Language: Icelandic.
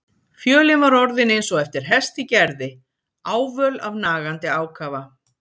Fjölin var orðin eins og eftir hest í gerði, ávöl af nagandi ákafa.